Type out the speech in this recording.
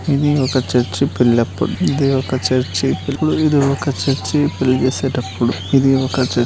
ఇది ఒక చర్చి పెళ్లెప్పుడు. ఇది ఒక చ ర్చి ఇది ఒక చర్చి పెళ్లి చేసేటప్పుడు ఇది ఒక చర్చి--